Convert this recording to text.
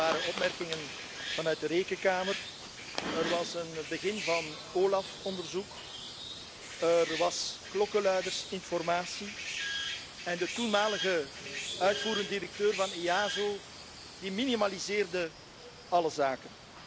Er waren opmerkingen vanuit de Rekenkamer, er was een begin van een OLAF onderzoek, er was klokkenluidersinformatie, en de toenmalige uitvoerend directeur van EASO minimaliseerde alle zaken.